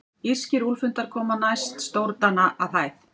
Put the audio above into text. Írskir úlfhundar koma næst stórdana að hæð.